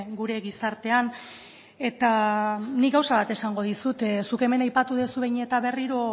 gure gizartean eta nik gauza bat esango dizut zuk hemen aipatu duzu behin eta berriro